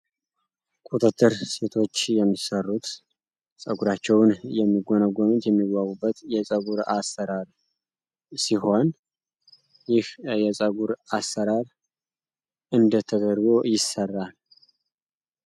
ቁጥጥር ሴቶች የሚሰሩት ጸጉራቸውን የሚጎነጎኑት የፀጉር አሰራር ሲሆን አሰራር እንደት ተደርጎ ይሰራል